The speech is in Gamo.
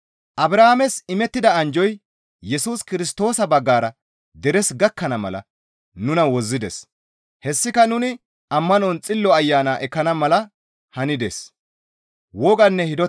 Abrahaames imettida anjjoy Yesus Kirstoosa baggara deres gakkana mala nuna wozzides; hessika nuni ammanon Xillo Ayana ekkana mala hanides.